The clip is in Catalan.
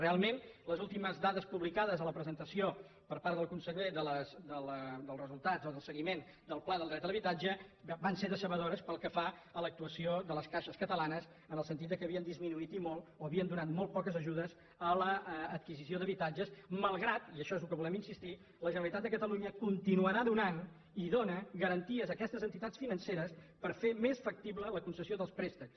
realment les últimes dades publicades a la presentació per part del conseller dels resultats o del seguiment del pla del dret a l’habitatge van ser decebedores pel que fa a l’actuació de les caixes catalanes en el sentit que havien disminuït i molt o havien donat molt poques ajudes a l’adquisició d’habitatges malgrat i això és al que volem insistir la generalitat de catalunya continuarà donant i les dóna garanties a aquestes entitats financeres per fer més factible la concessió dels préstecs